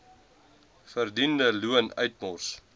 verdiende loon uitmors